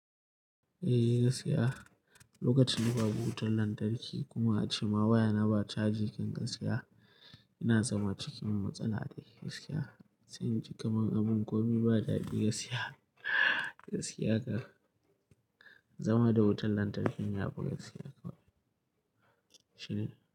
Eh gaskiya, lokacin ba bu wutan lantarki kuma ancimma waya na ba cajin gaskiya ina zama cikin matsala ne gaskiya. Sai inji abin gomi ba daɗi gaskiya, gaskiya kam zama da wutan lantarki ya fi gaskiya kawai, shine.